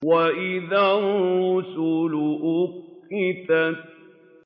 وَإِذَا الرُّسُلُ أُقِّتَتْ